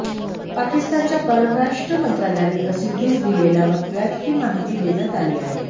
पाकिस्तानच्या परराष्ट्र मंत्रालयाने प्रसिद्धीस दिलेल्या वक्तव्यात ही माहिती देण्यात आली आहे